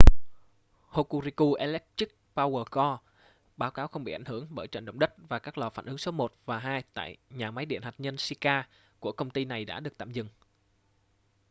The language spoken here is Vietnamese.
hokuriku electric power co báo cáo không bị ảnh hưởng bởi trận động đất và các lò phản ứng số 1 và 2 tại nhà máy điện hạt nhân shika của công ty này đã được tạm dừng